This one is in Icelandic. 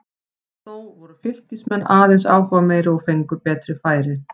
Þó voru Fylkismenn aðeins áhugameiri og fengu betri færi.